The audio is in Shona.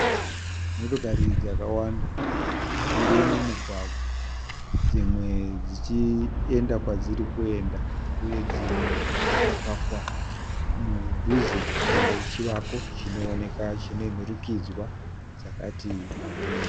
Motokari dzakawanda dziri mumugwagwa. Dzimwe dzichienda kwadziri kuenda uye, dzimwe dzakapakwa mudhuze mechivako chinooneka, chine nhurikidzwa dzakati wandei.